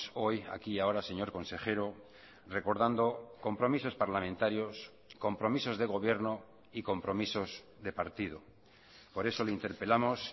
hoy aquí y ahora señor consejero recordando compromisos parlamentarios compromisos de gobierno y compromisos de partido por eso le interpelamos